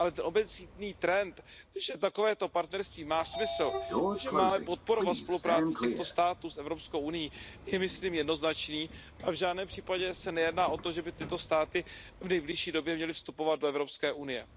Ale ten obecný trend, že takovéto partnerství má smysl, že máme podporovat spolupráci těchto států s Evropskou unií je, myslím, jednoznačný a v žádném případě se nejedná o to, že by tyto státy v nejbližší době měly vstupovat do Evropské unie.